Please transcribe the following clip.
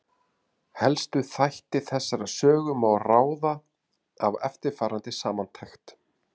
Helstu þætti þessarar sögu má ráða af eftirfarandi samantekt.